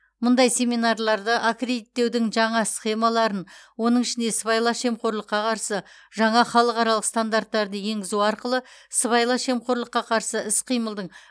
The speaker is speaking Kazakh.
мұндай семинарларды аккредиттеудің жаңа схемаларын оның ішінде сыбайлас жемқорлыққа қарсы жаңа халықаралық стандарттарды енгізу арқылы сыбайлас жемқорлыққа қарсы іс қимылдың